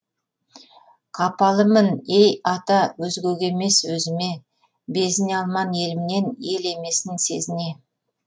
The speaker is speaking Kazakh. қапалымын ей ата өзгеге емес өзіме безіне алман елімнен ел емесін сезіне